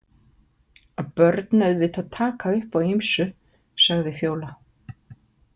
Börn auðvitað taka upp á ýmsu, sagði Fjóla.